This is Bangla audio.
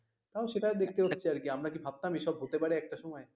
তাও সেটা দেখতে গেলে আরকি আমরা কি সেসময়ে ভাবতাম এসব হতে পারে একটা সময়ে